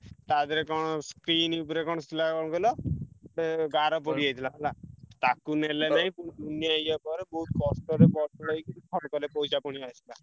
ତା ଧିଅରେ କଣ screen ଉପରେ କଣ କଣ କହିଲ ଗୋଟେ ଗାର ପଡ଼ିଯାଇଥିଲା ହେଲା। ତାକୁ ନେଲେ ନାଇଁ ପୁଣି ଦୁନିଆ ଇଏ କର ବହୁତ୍ କଷ୍ଟରେ ବଦଳେଇକି ପଇସା ପୁଣି ଆସିଲା।